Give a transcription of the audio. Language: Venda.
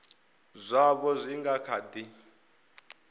zwaho zwi nga kha di